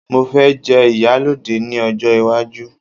mo fe je iyaloja ni ojo iwaju